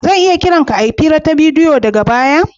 Zan iya kiran ka a hira ta bidiyo daga baya?